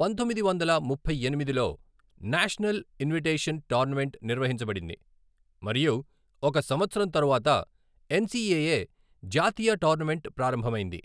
పంతొమ్మిది వందల ముప్పై ఎనిమిదిలో నేషనల్ ఇన్విటేషన్ టోర్నమెంట్ నిర్వహించబడింది మరియు ఒక సంవత్సరం తరువాత ఎన్సిఏఏ జాతీయ టోర్నమెంట్ ప్రారంభమైంది.